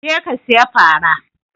Je ka saya fara!